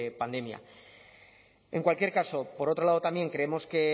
pandemia en cualquier caso por otro lado también creemos que